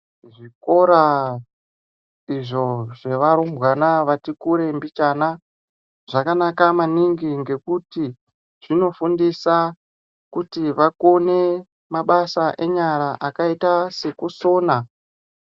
Zvikora izvo zvee varumbwana vati kure mbichana zvakanaka maningi ngekuti zvino fundisa kuti vakone mabasa enyara akaita seku sona.